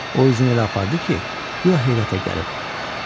O özünü elə apardı ki, guya heyrətə gəlib.